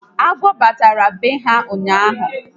Agwọ batara na be ha ụnyaahụ